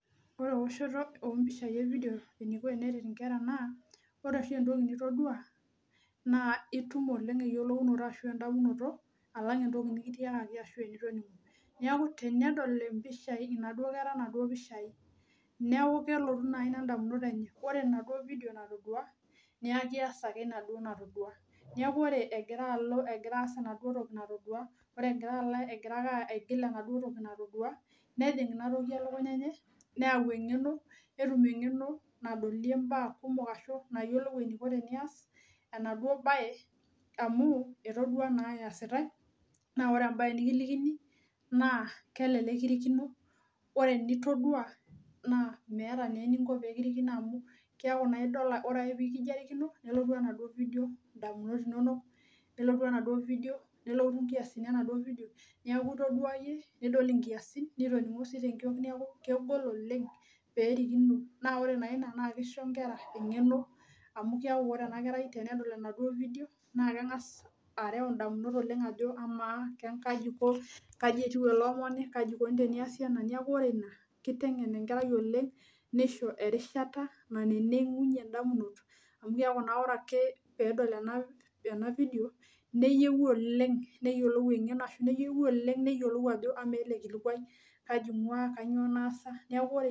Ore eoshoto ompishai evidio eniko teneret inkera naa ore oshi entoki nitodua naa itum oleng eyiolounoto ashu endamunoto alang entoki nikitiakaki ashu enitoningo . Niaku tenedol impishai inaduo kera inaduo pishai neeku kelotu nai ina ndamunot enye, ore enaduo vidio natodua , niaku keas ake enaduo natodua , niaku ore egira alo egira as enaduo toki natodua, ore egira alo , egira ake aigil enaduo toki natodua nejing inatoki elukunya enye , neyau engeno, netum engeno nadolie mbaa kumok ashu nayiolou eniko tenias enaduo bae amu etodua naa eesitae naa ore embae nikilikini naa kelelek kirikino , ore enitodua naa meeta naa eniko pekirikino amu kiaku naa idol amu ore ake pekijo arikino, nelotu enaduo vidio ndamunot inonok , nelotu enaduo vidio, nelotu nkiasin enaduo vidio, niaku itodua yie, nidol nkiasin, nitoningo si tenkiok niaku kegol oleng perikino naa ore naa ina naa kisho nkera engeno amu keaku ore ena kerai tenedol enaduo vidio naa kengas areu ndamunot oleng ajo amaa kaji iko, kaji etiu ele omoni , kaji ikoni teniasi ena , niaku ore ina, kitengen enkerai oleng , nisho erishata nanenegunyie indamunot amu keaku naa ore ake pedol ena vidio , neyieu oleng, neyiolou engeno oleng ashu neyieu oleng neyiolou ajo amaa ele kilikwai kaji ingwaa, kainyioo naasa, niaku ore.